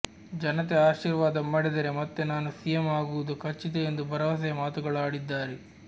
ಜನತೆ ಆಶೀರ್ವಾದ ಮಾಡಿದರೆ ಮತ್ತೆ ನಾನು ಸಿಎಂ ಆಗುವುದು ಖಚಿತ ಎಂದು ಭರವಸೆಯ ಮಾತುಗಳಾಡಿದ್ದಾರೆ